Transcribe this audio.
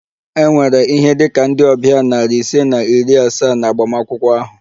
E nwere ihe dị ka ndị ọbịa nari ise na iri asaa na agbamakwụkwọ ahụ